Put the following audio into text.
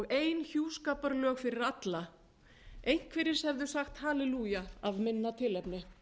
ein hjúskaparlög fyrir alla einhverjir hefðu sagt hallelúja af minna tilefni